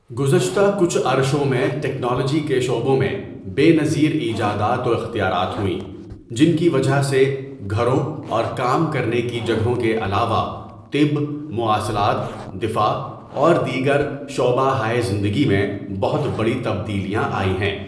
گذشتہ کچھ عرشوں میں ٹیکنالوجی کے شعبوں میں بےنظیر ایجادات و اختیارات ہوئیں جن کی وجہ سے گھروں اور کام کرنے کی جگہوں کے علاوہ طب مواصلات دفاع اور دیگر شعبہ ہائے زندگی میں بہت بڑی تبدیلیاں آئی ہے.